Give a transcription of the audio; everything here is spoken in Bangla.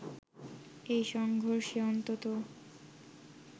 এই সংঘর্ষে অন্তত